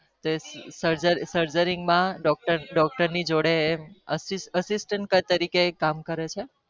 surgery માં doctor જોડે assistant કામ કરે છે